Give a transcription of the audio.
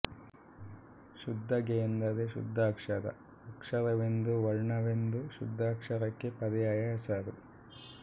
ಶುದ್ಧಗೆ ಎಂದರೆ ಶುದ್ಧಾಕ್ಷರ ಅಕ್ಷರವೆಂದೂ ವರ್ಣವೆಂದೂ ಶುದ್ಧಾಕ್ಷರಕ್ಕೆ ಪರ್ಯಾಯ ಹೆಸರು